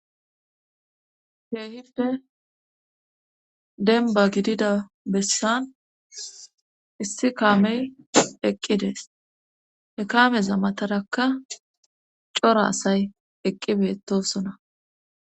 heehipe denba gidida bessan issi kaamey eqqidees he kaameza matarakka cora asay eqqi beettosona